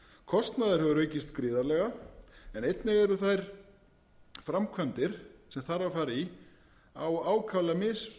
kostnaður hefur aukist gríðarlega en einnig eru þær framkvæmdir sem þarf að fara í á ákaflega